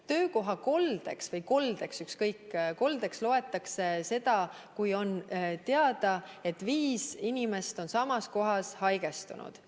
Sest töökohakoldeks või üldse koldeks loetakse seda, kui on teada, et viis inimest on samas kohas haigestunud.